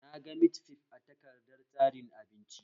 Naga mit fif a takardar tsarin abinci